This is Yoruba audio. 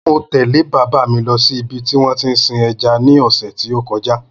Mo tẹ̀lé bàbá mi lọ ṣí ibi tí wón tí ń sin ẹja ní ọ̀sẹ̀ tí ó kọjá